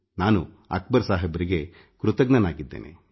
ನಾನು ಅಕ್ಬರ್ ಸಾಹಬ್ ಅವರಿಗೆ ಋಣಿಯಾಗಿದ್ದೇನೆ